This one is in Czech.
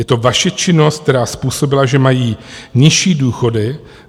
Je to vaše činnost, která způsobila, že mají nižší důchody.